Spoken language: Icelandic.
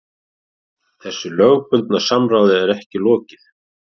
Þessu lögbundna samráði er ekki lokið